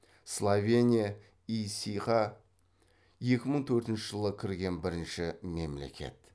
словения ес ға екі мың төртінші жылы кірген бірінші мемлекет